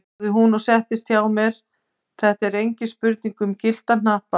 sagði hún og settist hjá mér, þetta er engin spurning um gyllta hnappa!